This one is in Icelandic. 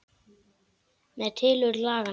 Um tilurð laganna